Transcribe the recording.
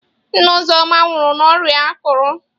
Nne Uzoma nwụrụ n'ọrịa akụrụ.